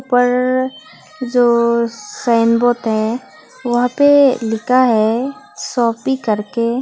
ऊपर जो sign board है वहां पे लिखा है शॉपि करके।